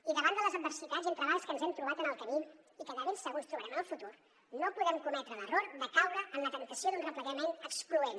i davant de les adversitats i entrebancs que ens hem trobat en el camí i que de ben segur ens trobarem en el futur no podem cometre l’error de caure en la temptació d’un replegament excloent